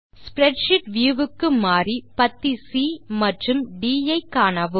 spreadsheet view க்கு மாறி பத்தி சி மற்றும் ட் ஐ காணவும்